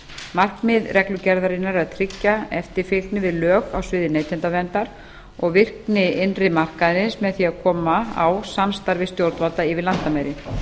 markmið reglugerðarinnar er að tryggja eftirfylgni við lög á sviði neytendaverndar og virkni innri markaðarins með því að koma á samstarfi stjórnvalda yfir landamæri